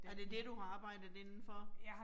Er det det, du har arbejdet indenfor?